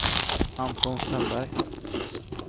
Anton Strömberg